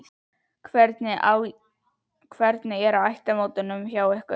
Hvernig er á ættarmótunum hjá ykkur?